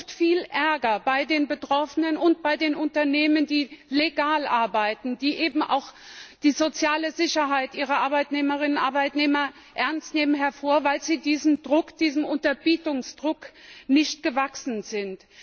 Das ruft viel Ärger bei den Betroffenen und bei den Unternehmen hervor, die legal arbeiten, die eben auch die soziale Sicherheit ihrer Arbeitnehmerinnen und Arbeitnehmer ernst nehmen, weil sie diesem Druck, diesem Unterbietungsdruck nicht gewachsen sind.